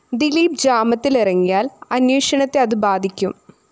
ദിലീപ് ജാമ്യത്തിലിറങ്ങിയാല്‍ അന്വേഷണത്തെ അതു ബാധിക്കും